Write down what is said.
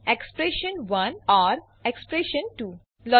એક્સપ્રેશન1 || expression two